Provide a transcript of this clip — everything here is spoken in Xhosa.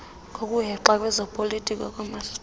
ngokuhexa kwezopolitiko koomasipala